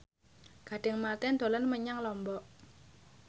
Gading Marten dolan menyang Lombok